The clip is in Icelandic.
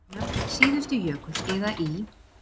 Nöfn síðustu jökulskeiða í